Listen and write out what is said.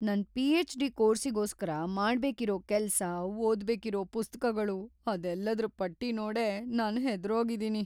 ನನ್ ಪಿಎಚ್‌.ಡಿ. ಕೋರ್ಸಿಗೋಸ್ಕರ ಮಾಡ್ಬೇಕಿರೋ ಕೆಲ್ಸ, ಓದ್ಬೇಕಿರೋ ಪುಸ್ತಕಗಳು ಅದೆಲ್ಲದ್ರ್ ಪಟ್ಟಿ ನೋಡೇ ನಾನ್ ಹೆದ್ರೋಗಿದೀನಿ.